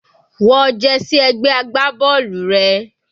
Wọ jersey ẹgbẹ́ agbábọ́ọ̀lù rẹ.